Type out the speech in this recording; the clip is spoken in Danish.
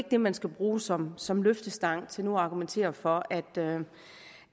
det man skal bruge som som løftestang til nu at argumentere for at